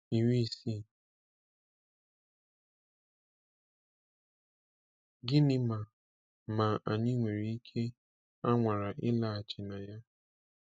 60. Gịnị ma ma anyị nwere ike a nwara ịlaghachi na ya?